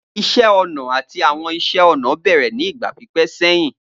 Iṣẹ ọna ati Awọn iṣẹ-ọnà bẹrẹ ni igba pipẹ sẹhin.